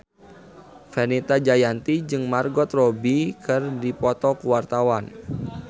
Fenita Jayanti jeung Margot Robbie keur dipoto ku wartawan